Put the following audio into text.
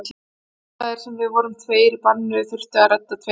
Þar sem að við vorum tveir í banni þurfti að redda tveimur.